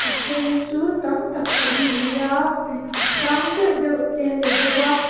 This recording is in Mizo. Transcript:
then chu tam tak an ni a ihh sang deuh deuh te a ni hlawm a.